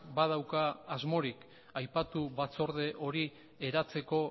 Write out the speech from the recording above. badauka asmorik aipatu batzorde hori eratzeko